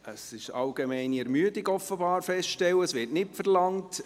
Es ist offenbar allgemeine Ermüdung festzustellen, das Wort wird nicht verlangt.